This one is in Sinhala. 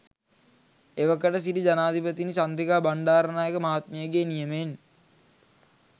එවකට සිටි ජනාධිපතිනි චන්ද්‍රිකා බණ්ඩාරනායක මහත්මියගේ නියමයෙන්